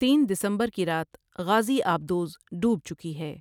تین دسمبر کی رات غازی آبدوز ڈوب چکی ہے ۔